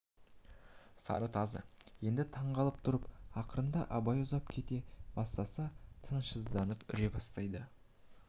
сары тазы енді таң қалып тұрып ақырында абай ұзап кете бастаса тынышсызданып үре бастайды